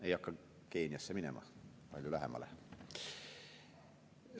Ei hakka Keeniasse minema, jään palju lähemale.